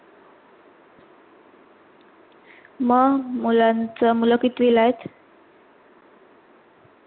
मंग मुलांच, मुलं कितविला आहेत?